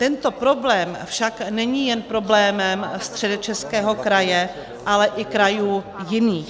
Tento problém však není jen problémem Středočeského kraje, ale i krajů jiných.